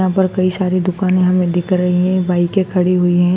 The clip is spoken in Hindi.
यहां पर कई सारी दुकाने हमें दिख रही है बाइके खड़ी हुई है।